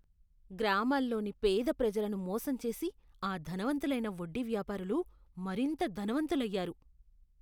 గ్రామాల్లోని పేద ప్రజలను మోసం చేసి ఆ ధనవంతులైన వడ్డీ వ్యాపారులు మరింత ధనవంతులయ్యారు.